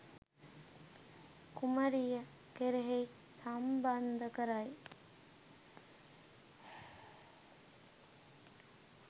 කුමරිය කෙරෙහි සම්බන්ධ කරයි.